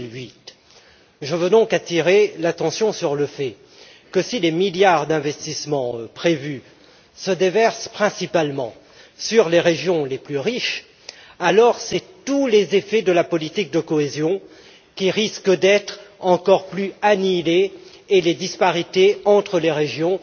2008. Je veux donc attirer l'attention sur le fait que si les milliards d'investissements prévus se déversent principalement sur les régions les plus riches, alors ce sont tous les effets de la politique de cohésion qui risquent d'être encore plus annihilés, et les disparités entre les régions